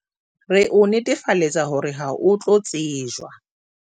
Re o netefaletsa hore ha o tlo tsejwa